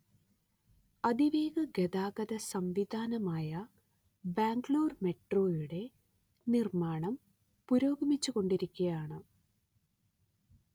അതിവേഗ ഗതാഗത സം‌വിധാനമായ ബാംഗ്ലൂർ മെട്രോയുടെ നിർമ്മാണം പുരോഗമിച്ചു കൊണ്ടിരിക്കുകയാണ്‌